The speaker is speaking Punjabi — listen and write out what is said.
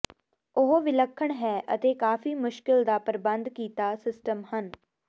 ਉਹ ਵਿਲੱਖਣ ਹੈ ਅਤੇ ਕਾਫ਼ੀ ਮੁਸ਼ਕਲ ਦਾ ਪ੍ਰਬੰਧ ਕੀਤਾ ਸਿਸਟਮ ਹਨ